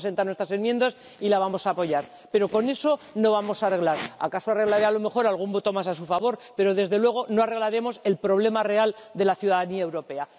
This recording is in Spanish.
Vamos a presentar nuestras enmiendas y la vamos a apoyar, pero con eso no vamos a arreglar la situación, acaso tendrá a lo mejor algún voto más a su favor, pero, desde luego, no arreglaremos el problema real de la ciudadanía europea.